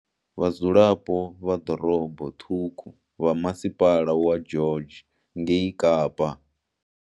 Vhadzulapo vha ḓorobo ṱhukhu vha masipala wa George ngei Kapa.